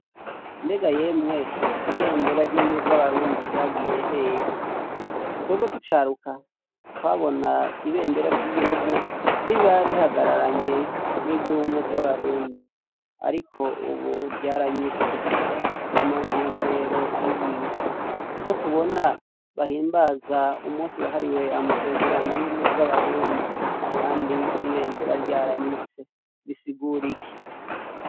Mbega yemwe ibendera ry'ubumwe bw'Abarundi ryagiye hehe twebwe tucaruka twabona ibendera ry'igihugu riba rihagararanye n'iry'ubumwe bw'abarundi ariko ubu ryaranyitse ni mu ntumbero iyihe ko tubona bahimbaza umunsi wahariwe amasezerano y'umwe bw'abarundi kandi ibendera ryaranyitse bisigura iki?